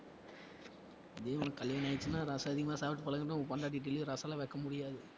இதே உனக்கு கல்யாணம் ஆயிடுச்சினா ரசம் அதிகமா சாப்பிட்டு பழகினா உன் பொண்டாட்டி daily யும் ரசம்லாம் வைக்க முடியாது